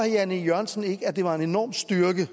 jan e jørgensen ikke at det var en enorm styrke